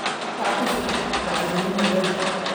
Kaac ku shuub bacriminta beerta